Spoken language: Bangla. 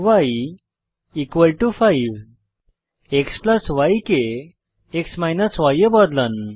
y 5 xy কে x ই এ বদলান